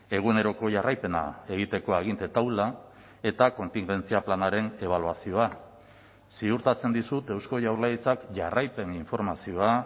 eguneroko jarraipena egiteko aginte taula eta kontingentzia planaren ebaluazioa ziurtatzen dizut eusko jaurlaritzak jarraipen informazioa